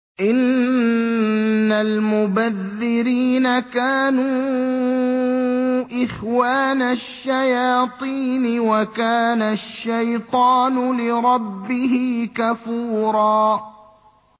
إِنَّ الْمُبَذِّرِينَ كَانُوا إِخْوَانَ الشَّيَاطِينِ ۖ وَكَانَ الشَّيْطَانُ لِرَبِّهِ كَفُورًا